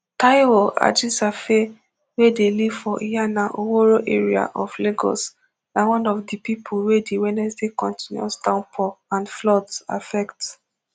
taiwo ajisafe wey dey live for iyana oworo area of lagos na one of di pipo wey di wednesday continuous downpour and floods affect